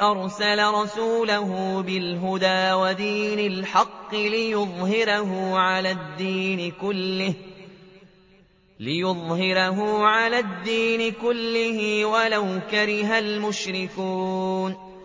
أَرْسَلَ رَسُولَهُ بِالْهُدَىٰ وَدِينِ الْحَقِّ لِيُظْهِرَهُ عَلَى الدِّينِ كُلِّهِ وَلَوْ كَرِهَ الْمُشْرِكُونَ